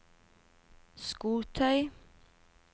skotøy